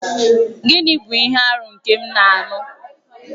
Gịnị bụ ihe arụ nke m na-anụ?